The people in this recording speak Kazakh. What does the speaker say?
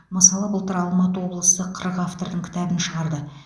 мысалы былтыр алматы облысы қырық автордың кітабын шығарды